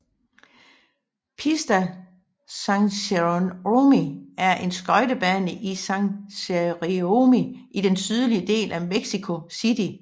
Pista San Jerónimo er en skøjtebane i San Jerónimo i den sydlige del af Mexico city